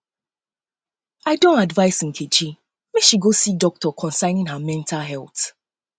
i um don advice nkechi make she go see doctor concerning her mental health